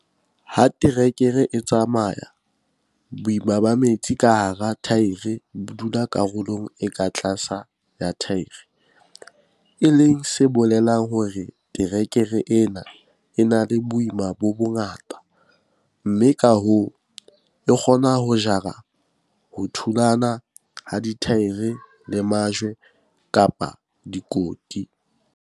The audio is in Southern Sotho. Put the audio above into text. Ha terekere e tsamaya, boima ba metsi ka hara thaere bo dula karolong e ka tlase ya thaere, e leng se bolelang hore terekere e na le boima bo bongata, mme ka hoo, e kgona ho jara ho thulana ha dithaere le majwe kapa dikoti.